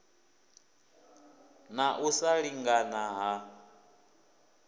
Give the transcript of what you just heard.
na u sa lingana ha